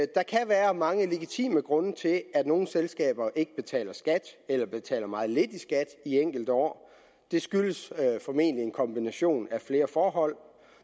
der kan være mange legitime grunde til at nogle selskaber ikke betaler skat eller betaler meget lidt i skat enkelte år det skyldes formentlig en kombination af flere forhold